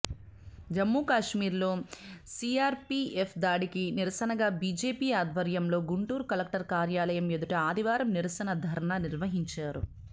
జమ్మూకాశ్మీర్లో CRPF దాడికి నిరసనగా BJP ఆధ్వర్యంలో గుంటూరు కలెక్టర్ కార్యాలయం ఎదుట ఆదివారం నిరసన ధర్నా నిర్వహించారు